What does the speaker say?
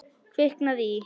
Kviknað í.